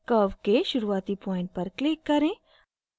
curve के शुरूआती point पर click करें